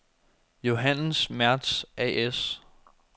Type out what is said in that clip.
Johannes Mertz A/S